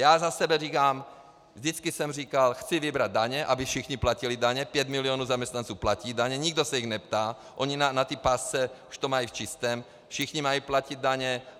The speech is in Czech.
Já za sebe říkám, vždycky jsem říkal, chci vybrat daně, aby všichni platili daně, 5 milionů zaměstnanců platí daně, nikdo se jich neptá, oni na té pásce už to mají v čistém, všichni mají platit daně.